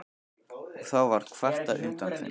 Og þá var kvartað undan þeim.